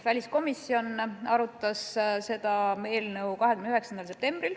Väliskomisjon arutas seda eelnõu 29. septembril.